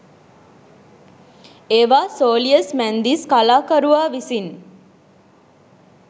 ඒවා සෝලියස් මැන්දිස් කලාකරුවා විසින්